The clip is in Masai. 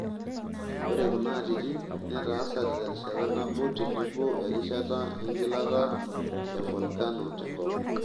Ore kuna atitin netaasate terishat nabo tenebo erishata engilata e volkeno tenkop.